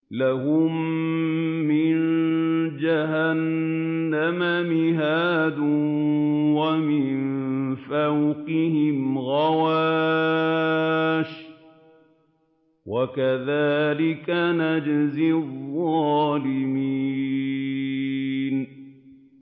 لَهُم مِّن جَهَنَّمَ مِهَادٌ وَمِن فَوْقِهِمْ غَوَاشٍ ۚ وَكَذَٰلِكَ نَجْزِي الظَّالِمِينَ